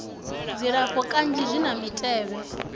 dzilafho kanzhi zwi na mitevhe